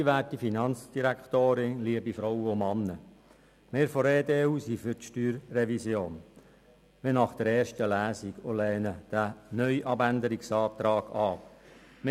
Wirvon der EDU sind wie nach der ersten Lesung für die StG-Revision und lehnen den neuen Abänderungsantrag ab.